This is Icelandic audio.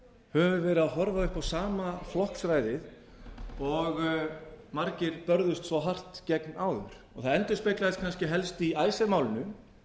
höfum við verið að horfa upp á sama flokksræðið og margir börðust svo hart gegn áður það endurspeglast kannski í icesave málinu